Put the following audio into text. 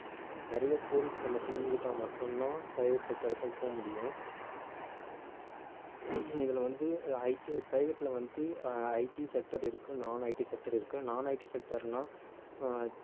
நிறைய codings நம்ம தெரிஞ்சுகிட்டா மட்டும்தான் private sector க்கும் போக முடியும் இதுல வந்து ITprivate ல வந்து அஹ் IT sector இருக்கு nonITsector இருக்கு nonITsector ன்னா